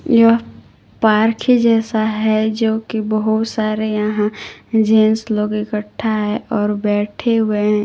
यह पार्क जैसा है जोकि बहोत सारे यहां जेंट्स लोग इकट्ठा है और बैठे हुए हैं।